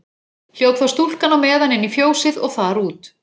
Hljóp þá stúlkan á meðan inn í fjósið og þar út.